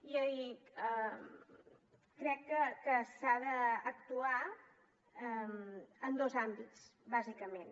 i crec que s’ha d’actuar en dos àmbits bàsicament